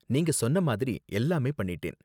நீங்க சொன்ன மாதிரி எல்லாமே பண்ணிட்டேன்.